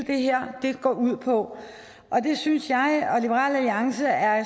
det her går ud på det synes jeg og liberal alliance er